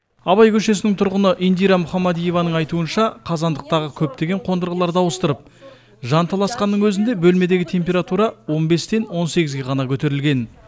абай көшесінің тұрғыны индира мұхамадиеваның айтуынша қазандықтағы көптеген қондырғыларды ауыстырып жанталасқанның өзінде бөлмедегі температура он бестен он сегізге ғана көтерілген